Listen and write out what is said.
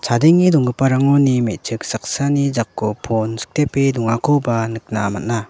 adenge donggiparangoni me·chik saksani jako pon sikdepe dongakoba nikna man·a.